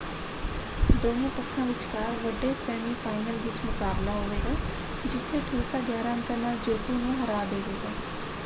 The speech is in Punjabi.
ਦੋਹੇਂ ਪੱਖਾਂ ਵਿਚਕਾਰ ਵੱਡੇ ਸੈਮੀਫਾਈਨਲ ਵਿੱਚ ਮੁਕਾਬਲਾ ਹੋਵੇਗਾ ਜਿੱਥੇ ਨੂਸਾ 11 ਅੰਕਾਂ ਨਾਲ ਜੇਤੂ ਨੂੰ ਹਰਾ ਦੇਵੇਗਾ।